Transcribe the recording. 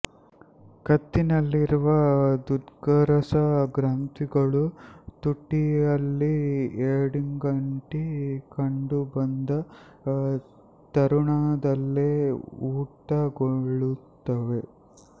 ಕತ್ತಿನಲ್ಲಿರುವ ದುಗ್ಧರಸ ಗ್ರಂಥಿಗಳು ತುಟಿಯಲ್ಲಿ ಏಡಿಗಂತಿ ಕಂಡುಬಂದ ತರುಣದಲ್ಲೆ ಊತಗೊಳ್ಳುತ್ತದೆ